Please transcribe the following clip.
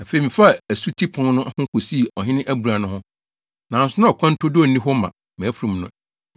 Afei, mefaa Asuti Pon no ho kosii Ɔhene Abura no ho, nanso na ɔkwan turodoo nni hɔ ma mʼafurum no.